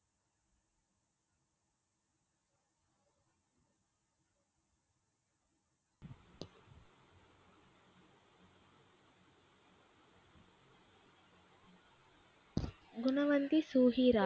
குணவந்தி சுகிறார்.